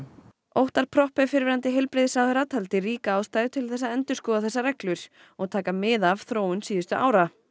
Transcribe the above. Óttar Proppé fyrrverandi heilbrigðisráðherra taldi einnig ríka ástæðu til að endurskoða þessar reglur og taka mið af þróun síðustu ára